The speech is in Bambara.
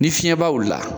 Ni fiɲɛbaw wulila